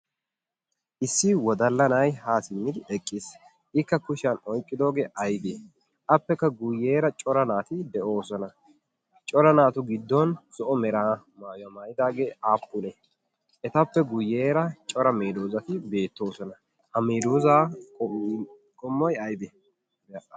Issi wodalla na'ay ha simmidi eqiis. i kushiyaan oyqqidoode aybbe? appekka guyyera cora naatu de'oosona. cora naatu giddon zo'o maayuwaa maayyidi naati aappune? etappeguyyera cora meedosati beettoosona. ha medoosa qommoy aybbe?